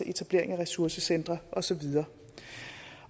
etableres ressourcecentre og så videre